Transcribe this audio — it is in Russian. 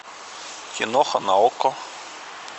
киноха на окко